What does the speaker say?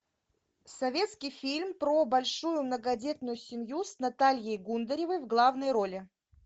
советский фильм про большую многодетную семью с натальей гундаревой в главной роли